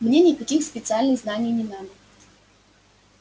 мне никаких специальных знаний не надо